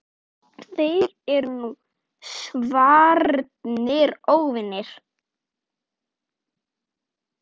Þeir eru nú svarnir óvinir.